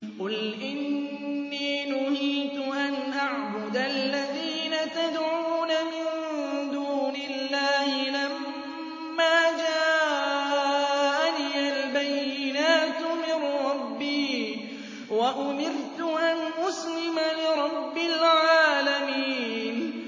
۞ قُلْ إِنِّي نُهِيتُ أَنْ أَعْبُدَ الَّذِينَ تَدْعُونَ مِن دُونِ اللَّهِ لَمَّا جَاءَنِيَ الْبَيِّنَاتُ مِن رَّبِّي وَأُمِرْتُ أَنْ أُسْلِمَ لِرَبِّ الْعَالَمِينَ